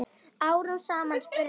Árum saman? spurði hann.